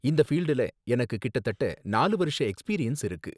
இந்த ஃபீல்டுல எனக்கு கிட்டத்தட்ட நாலு வருஷ எக்ஸ்பீரியன்ஸ் இருக்கு